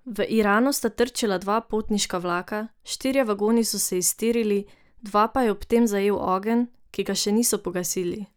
V Iranu sta trčila dva potniška vlaka, štirje vagoni so se iztirili, dva pa je ob tem zajel ogenj, ki ga še niso pogasili.